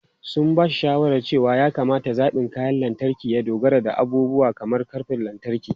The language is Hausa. Sun ba shi shawarar cewa ya kamata zaɓin kayan lantarki ya dogara da abubuwa kamar ƙarfin lantarki.